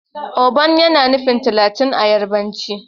Ogban yana nufin talatin a yarbanci.